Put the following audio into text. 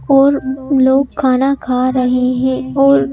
और लोग खाना खा रहे हैं और--